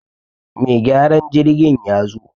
Mai gyaran jirgin ya zo